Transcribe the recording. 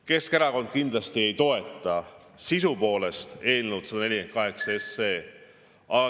Keskerakond kindlasti ei toeta eelnõu 148.